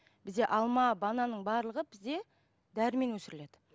бізде алма бананның барлығы бізде дәрімен өсіріледі